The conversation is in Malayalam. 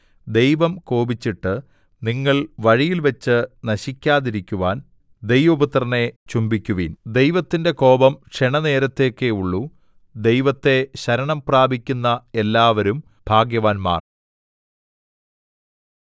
ദൈവം കോപിച്ചിട്ട് നിങ്ങൾ വഴിയിൽവച്ചു നശിക്കാതിരിക്കുവാൻ ദൈവപുത്രനെ ചുംബിക്കുവിൻ ദൈവത്തിന്റെ കോപം ക്ഷണനേരത്തേക്കേ ഉള്ളൂ ദൈവത്തെ ശരണം പ്രാപിക്കുന്ന എല്ലാവരും ഭാഗ്യവാന്മാർ